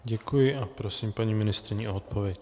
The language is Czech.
Děkuji a prosím paní ministryni o odpověď.